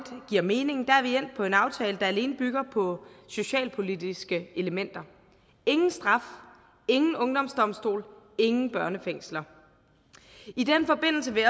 giver mening er vi endt på en aftale der alene bygger på socialpolitiske elementer ingen straf ingen ungdomsdomstol ingen børnefængsler i den forbindelse vil